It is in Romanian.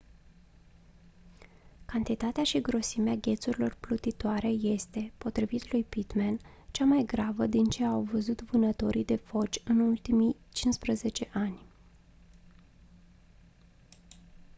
cantitatea și grosimea ghețurilor plutitoare este potrivit lui pittman cea mai gravă din ce au văzut vânătorii de foci în ultimii 15 ani